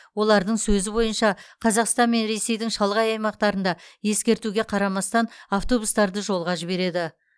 олардың сөзі бойынша қазақстан мен ресейдің шалғай аймақтарында ескертуге қарамастан автобустарды жолға жібереді